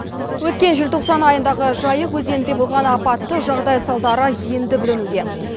өткен желтоқсан айындағы жайық өзенінде болған апатты жағдай салдары енді білінуде